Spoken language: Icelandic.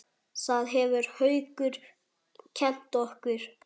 Það hefur Haukur kennt okkur.